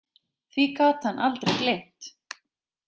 Því gat hann aldrei gleymt.